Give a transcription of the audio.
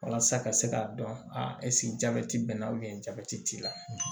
Walasa ka se k'a dɔn a jabɛti b'i la jabɛti t'i la